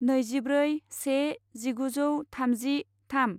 नैजिब्रै से जिगुजौ थामजि थाम